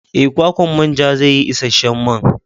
Ee, kwakwan manjan zai yi isasshen man.